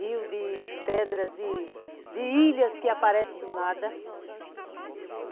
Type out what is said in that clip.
Rio de pedras, de ilhas que aparecem do nada.